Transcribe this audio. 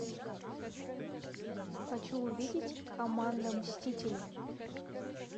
хочу увидеть команда мстители